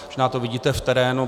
Možná to vidíte v terénu.